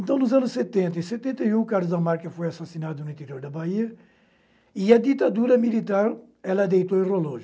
Então, nos anos setenta e setenta e um, Carlos Damar que foi assassinado no interior da Bahia e a ditadura militar, ela deitou e rolou.